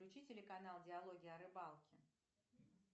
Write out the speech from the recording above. включи телеканал диалоги о рыбалке